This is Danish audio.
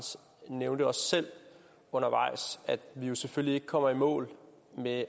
nævnte også selv undervejs at vi jo selvfølgelig ikke kommer i mål med